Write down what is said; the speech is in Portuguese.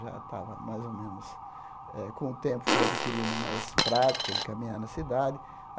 Já estava mais ou menos eh... Com o tempo, fui adquirindo mais prática, em caminhar na cidade.